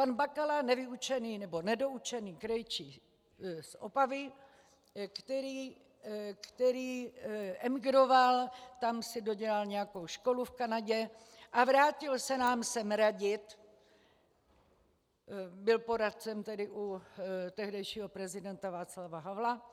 Pan Bakala - nevyučený, nebo nedoučený krejčí z Opavy, který emigroval, tam si dodělal nějakou školu v Kanadě a vrátil se nám sem radit, byl poradcem tedy u tehdejšího prezidenta Václava Havla